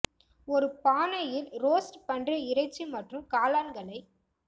ஒரு பானை இல் ரோஸ்ட் பன்றி இறைச்சி மற்றும் காளான்களை